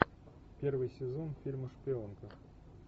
первый сезон фильма шпионка